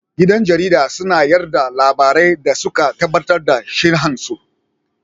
Gidan jarida suna yada labarai da suka tabbatar da shihan su